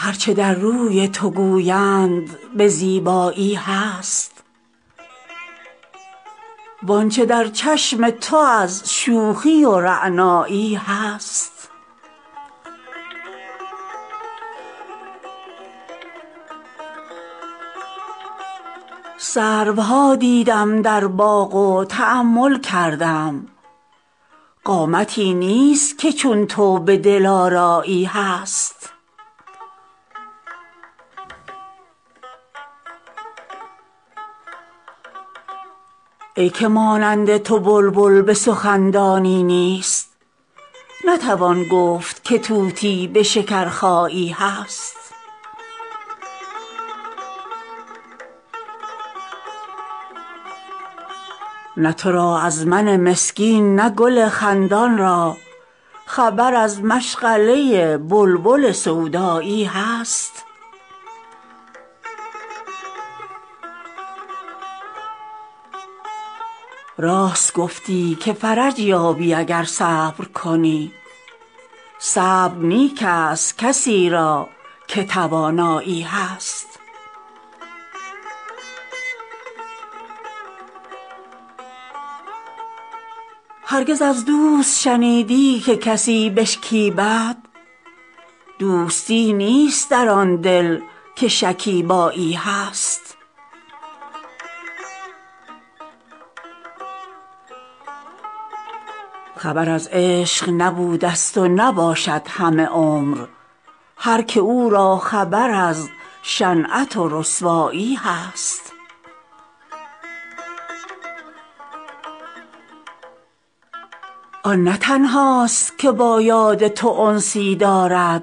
هر چه در روی تو گویند به زیبایی هست وان چه در چشم تو از شوخی و رعنایی هست سروها دیدم در باغ و تأمل کردم قامتی نیست که چون تو به دلآرایی هست ای که مانند تو بلبل به سخن دانی نیست نتوان گفت که طوطی به شکرخایی هست نه تو را از من مسکین نه گل خندان را خبر از مشغله بلبل سودایی هست راست گفتی که فرج یابی اگر صبر کنی صبر نیک ست کسی را که توانایی هست هرگز از دوست شنیدی که کسی بشکیبد دوستی نیست در آن دل که شکیبایی هست خبر از عشق نبودست و نباشد همه عمر هر که او را خبر از شنعت و رسوایی هست آن نه تنهاست که با یاد تو انسی دارد